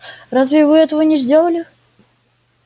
разве вы этого не сделали